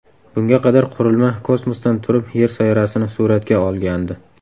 Bunga qadar qurilma kosmosdan turib Yer sayyorasini suratga olgandi.